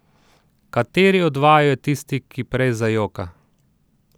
Kateri od vaju je tisti, ki prej zajoka?